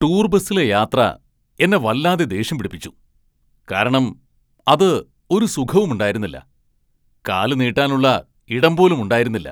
Tour ബസിലെ യാത്ര എന്നെ വല്ലാതെ ദേഷ്യം പിടിപ്പിച്ചു , കാരണം അത് ഒരു സുഖമുണ്ടായിരുന്നില്ല, കാല് നീട്ടാനുള്ള ഇടം പോലും ഉണ്ടായിരുന്നില്ല.